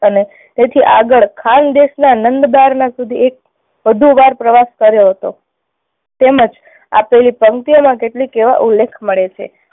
અને તેથી આગળ ખાન દેશના નંદ બાર ના સુધી એક વધુ વાર પ્રવાસ કર્યો હતો તેમ જ આ પેલી પંકિતીઓમાં કેટલીક એવા ઉલ્લેખ મળે છે.